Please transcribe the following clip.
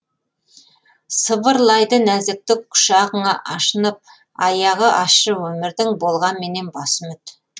сыбырлайды нәзіктік құшағыңа ашынып аяғы ащы өмірдің болғанменен басы үміт